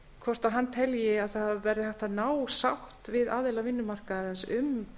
hvort hann telji að það verði hægt að ná sátt við aðila vinnumarkaðarins um